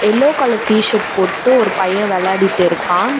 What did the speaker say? Yellow colour T shirt போட்டு ஒரு பைய வெளாடிட்டு இருக்கா.